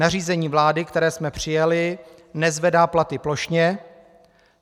Nařízení vlády, které jsme přijali, nezvedá platy plošně.